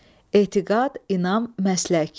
Etiqad, inam, məslək.